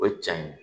O ye cɛ in ye